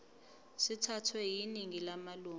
sithathwe yiningi lamalunga